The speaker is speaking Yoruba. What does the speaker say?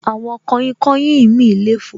Àwọn kainkain mi le fò